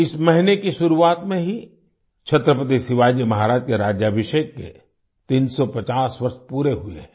इस महीने की शुरुआत में ही छत्रपति शिवाजी महाराज के राज्याभिषेक के 350 वर्ष पूरे हुए हैं